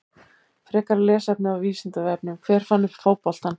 Frekara lesefni á Vísindavefnum: Hver fann upp fótboltann?